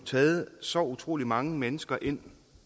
taget så utrolig mange mennesker ind